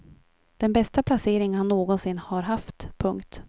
Den bästa placering han någonsin har haft. punkt